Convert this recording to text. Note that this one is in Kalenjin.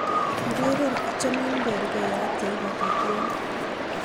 ureren achomin bergeiyat yeipata tieni